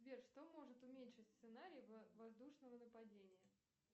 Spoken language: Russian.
сбер что может уменьшить сценарий воздушного нападения